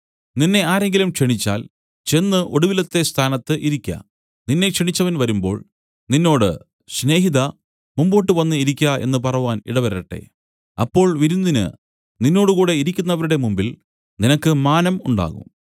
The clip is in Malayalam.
നിന്നെ ആരെങ്കിലും ക്ഷണിച്ചാൽ ചെന്ന് ഒടുവിലത്തെ സ്ഥാനത്ത് ഇരിക്ക നിന്നെ ക്ഷണിച്ചവൻ വരുമ്പോൾ നിന്നോട് സ്നേഹിതാ മുമ്പോട്ടു വന്നു ഇരിക്ക എന്നു പറവാൻ ഇടവരട്ടെ അപ്പോൾ വിരുന്നിന് നിന്നോടുകൂടെ ഇരിക്കുന്നവരുടെ മുമ്പിൽ നിനക്ക് മാനം ഉണ്ടാകും